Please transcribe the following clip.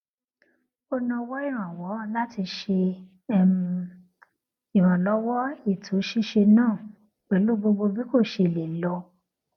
ó nawọ ìrànwọ láti ṣe um ìrànlọwọ ètò ṣíṣe náà pẹlú gbogbo bí kò ṣe lè lọ